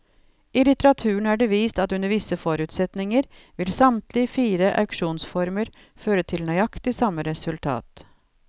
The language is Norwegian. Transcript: I litteraturen er det vist at under visse forutsetninger vil samtlige fire auksjonsformer føre til nøyaktig samme resultat.